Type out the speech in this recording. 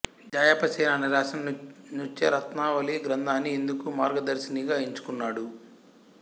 జాయప సేనాని రాసిన నృత్తరత్నావళి గ్రంథాన్ని ఇందుకు మార్గదర్శినిగా ఎంచుకున్నాడు